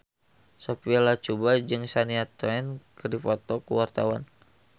Sophia Latjuba jeung Shania Twain keur dipoto ku wartawan